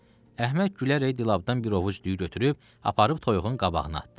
Əhməd gülərək dilapdan bir ovuc düyü götürüb aparıb toyuğun qabağına atdı.